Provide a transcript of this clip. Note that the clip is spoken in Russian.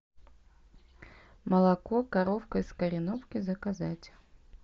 молоко коровка из кореновки заказать